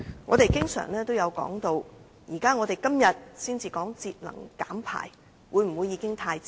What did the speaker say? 我們常說，今天才討論節能減排是否已經太遲。